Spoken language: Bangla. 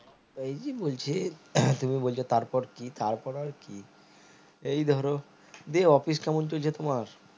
ওই জি বলছি তুমি বলছো তার পর কি তার পর আর কি এই ধরো দিয়ে office কেমন চলছে তোমার